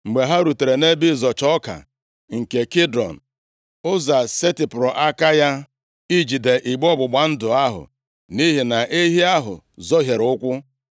Mgbe ha rutere nʼebe ịzọcha ọka nke Kidon, Ụza setịpụrụ aka ya ijide igbe ọgbụgba ndụ ahụ, nʼihi na ehi ahụ zọhiere ụkwụ.